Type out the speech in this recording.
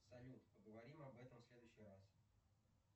салют поговорим об этом в следующий раз